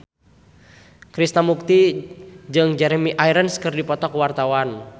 Krishna Mukti jeung Jeremy Irons keur dipoto ku wartawan